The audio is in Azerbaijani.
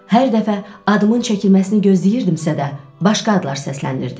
Hər dəfə adımın çəkilməsini gözləyirdimsə də, başqa adlar səslənirdi.